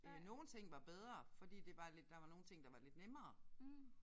Øh nogle ting var bedre fordi det var lidt der var nogle ting der var lidt nemmere